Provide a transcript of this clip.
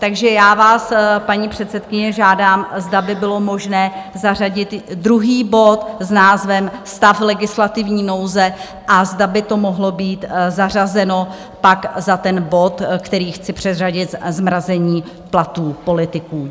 Takže já vás, paní předsedkyně, žádám, zda by bylo možné zařadit druhý bod s názvem Stav legislativní nouze a zda by to mohlo být zařazeno pak za ten bod, který chci předřadit - zmrazení platů politiků.